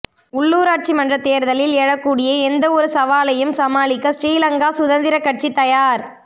உள்ளுராட்சி மன்ற தேர்தலில் எழக்கூடிய எந்தவொரு சவாலையும் சமாளிக்க ஸ்ரீ லங்கா சுதந்திரக் கட்சி தயார்